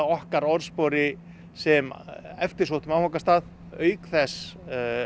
okkar orðspori sem eftirsóttum áfangastað auk þess